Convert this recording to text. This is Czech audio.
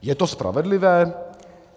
Je to spravedlivé?